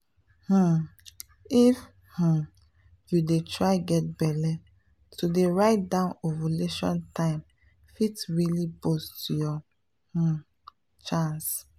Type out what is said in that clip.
um if um you dey try get belle to dey write down ovulation time fit really boost your um chance.